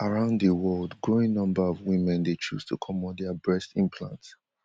around di world growing number of women dey choose to comot dia breast implants